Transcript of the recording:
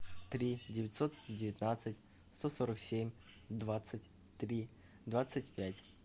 три девятьсот девятнадцать сто сорок семь двадцать три двадцать пять